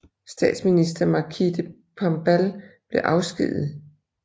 Statsminister Markis de Pombal blev afskediget